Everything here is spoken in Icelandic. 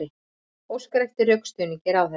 Óskar eftir rökstuðningi ráðherra